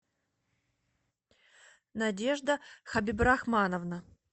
надежда хабибрахмановна